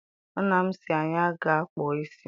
Nna m sị anyị gaa kpụọ isi.